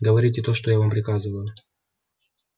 говорите то что я вам приказываю